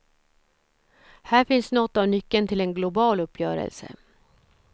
Här finns något av nyckeln till en global uppgörelse.